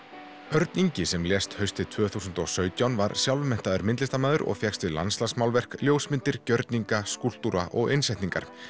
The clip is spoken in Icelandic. Örn Ingi sem lést haustið tvö þúsund og sautján var sjálfmenntaður myndlistarmaður og fékkst við ljósmyndir gjörninga skúlptúra og innsetningar